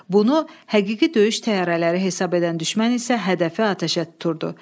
Bunu həqiqi döyüş təyyarələri hesab edən düşmən isə hədəfi atəşə tuturdu.